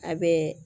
A bɛ